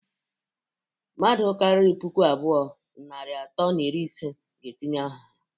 Mmadu kariri puku abụọ, narị atọ na iri ise ga-etinye aha ha.